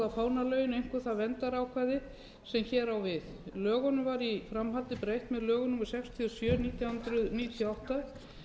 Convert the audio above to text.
fánalögin einkum það verndarákvæði sem hér á við lögunum var í framhaldi breytt með lögum númer sextíu og sjö nítján hundruð níutíu og átta